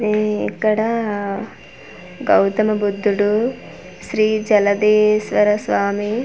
ఈ ఇక్కడ గౌతమ బుద్దుడు శ్రీ జలదేశ్వర స్వామి.